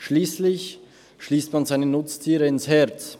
Schliesslich schliesst man seine Nutztiere ins Herz.